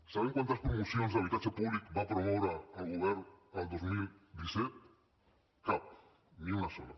sabem quantes promocions d’habitatge públic va promoure el govern el dos mil disset cap ni una sola